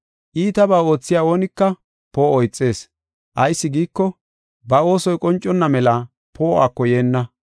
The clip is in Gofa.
Iitabaa oothiya oonika poo7o ixees. Ayis giiko, ba oosoy qonconna mela poo7uwako yeenna.